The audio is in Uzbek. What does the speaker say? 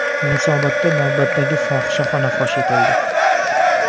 Yunusobodda navbatdagi fohishaxona fosh etildi.